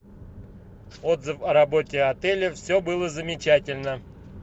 отзыв о работе отеля все было замечательно